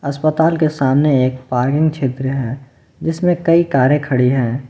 अस्पताल के सामने एक पार्किंग क्षेत्र है जिसमें कई करें खड़ी हैं।